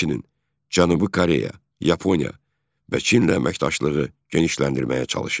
Həmçinin Cənubi Koreya, Yaponiya və Çinlə əməkdaşlığı genişləndirməyə çalışır.